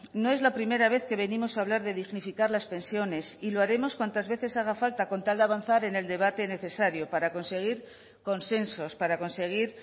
no es la primera vez que venimos a hablar de dignificar las pensiones y lo haremos cuantas veces haga falta con tal de avanzar en el debate necesario para conseguir consensos para conseguir